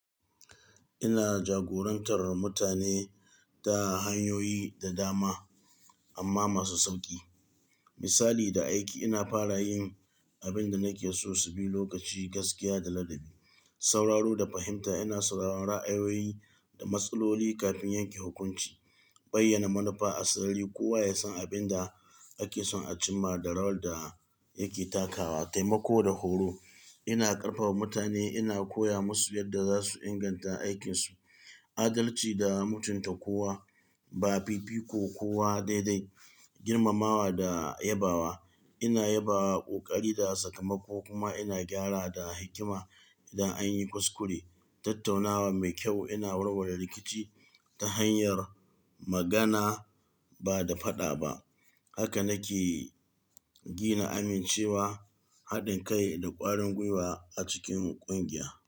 Ina jagorantar mutane ta hanyoyi da dama amma masu sauƙi. Misali da aiki, ina fara yin abin da nake so su bi lokaci, gaskiya da ladabi. Sauraro da fahimta, ina sauraron ra'ayoyi da matsaloli kafin yanke hukunci. Bayyana manufa a sirri, kowa ya san abin da ake son a cimma da rawar da yake takawa. Taimako da horo, ina ƙarfafa mutane, ina koya musu yadda za su inganta aikinsu. Adalci da mutunta kowa, ba fifiko kowa dai-dai. Girmamawa da yabawa, ina yabawa ƙoƙari da sakamako kuma ina gyara da hikima idan an yi kuskure. Tattaunawa mai kyau, ina warware rikici ta hanyar magana ba da faɗa ba. Haka nake gina amincewa, haɗin kai da ƙwarin gwiwa a cikin ƙungiya.